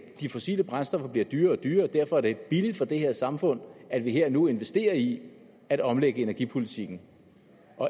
de fossile brændstoffer bliver dyrere og dyrere og derfor er det billigere for det her samfund at vi her og nu investerer i at omlægge energipolitikken